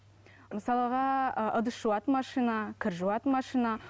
мысалға ы ыдыс жуатын машина кір жуатын машина